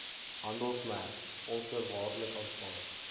handelsmerk onvoorwaardelik aanvaar